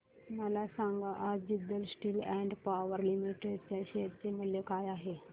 मला सांगा आज Jindal steel and power limited च्या शेअर चे मूल्य काय आहे